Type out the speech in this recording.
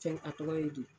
Fɛn a tɔgɔ ye di